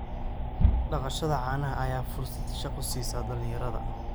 Dhaqashada caanaha ayaa fursad shaqo siisa dhalinyarada.